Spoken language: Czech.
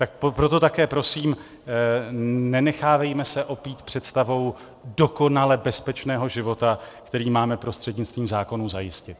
Tak proto také prosím, nenechávejme se opít představou dokonale bezpečného života, který máme prostřednictvím zákonů zajistit.